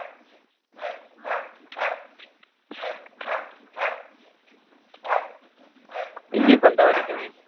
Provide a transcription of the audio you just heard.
ഇയ്യ്‌ ഇപ്പൊ എന്താ പടിക്കണേ